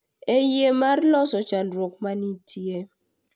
E yie mar loso chandruok ma nitie.